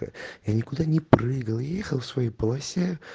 я никуда не прыгал ехал в своей полосе